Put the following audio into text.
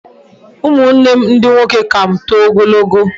Umunnem ndi nwoke ka m too ogologo